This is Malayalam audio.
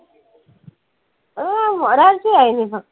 ആ, ഒരാഴ്ച ആയിന്നെ ഇപ്പം